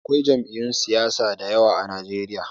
Akwai jam'iyun siyasa da yawa a Najeriya.